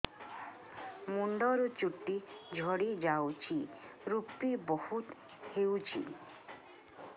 ମୁଣ୍ଡରୁ ଚୁଟି ଝଡି ଯାଉଛି ଋପି ବହୁତ ହେଉଛି